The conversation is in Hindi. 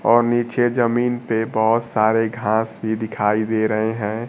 और नीचे जमीन पे बहुत सारे घास भी दिखाई दे रहे हैं।